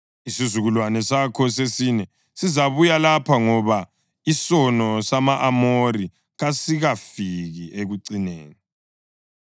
Isizukulwane sakho sesine sizabuya lapha, ngoba isono sama-Amori kasikafiki ekucineni.”